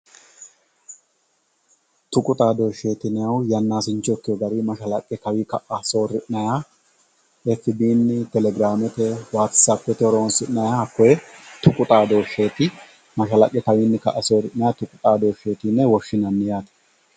tuqu xadoosheeti yinayihu yannasincho ikeyoo garinni mashalaqqe kawii ka'a soori'nayiiha efibiini, telegraamete, watsapete horosinayiha hakkoye tuqu xadoosheeti mashalaqe kawiin ka"a soori'nayiiha tuqu xadoosheeti yine woshinanni yaate.